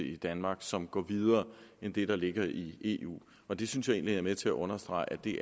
i danmark som går videre end det der ligger i eu og det synes jeg egentlig er med til at understrege at det